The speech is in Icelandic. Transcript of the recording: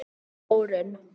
Þórunn